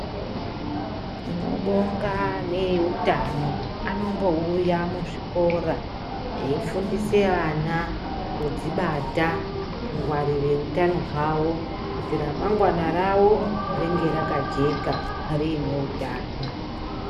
Tinobonga vehutano vanombouya muzvikora veifundisa ana kuzvibata kungwarira hutano hwavo kuti ramangwana rawo ringe rakajeka rine hutano.